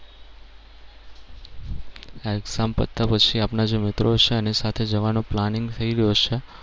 આ exam પત્યા પછી બધા જે મિત્રો છે એની સાથે જવાનો planning થઈ ગયો છે.